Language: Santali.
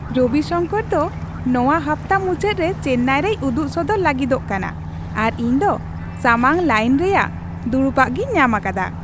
ᱨᱚᱵᱤ ᱥᱟᱝᱠᱚᱨ ᱫᱚ ᱱᱚᱶᱟ ᱦᱟᱯᱛᱟ ᱢᱩᱪᱟᱹᱫ ᱨᱮ ᱪᱮᱱᱱᱟᱭ ᱨᱮᱭ ᱩᱫᱩᱜ ᱥᱚᱫᱚᱨ ᱞᱟᱹᱜᱤᱫᱚᱜ ᱠᱟᱱᱟ ᱟᱨ ᱤᱧ ᱫᱚ ᱥᱟᱢᱟᱝ ᱞᱟᱭᱤᱱ ᱨᱮᱭᱟᱜ ᱫᱩᱲᱩᱯᱟᱜᱤᱧ ᱧᱟᱢ ᱟᱠᱟᱫᱟ !